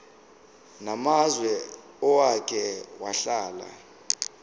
namazwe owake wahlala